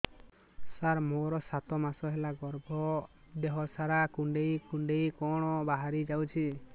ସାର ମୋର ସାତ ମାସ ହେଲା ଗର୍ଭ ଦେହ ସାରା କୁଂଡେଇ କୁଂଡେଇ କଣ ବାହାରି ଯାଉଛି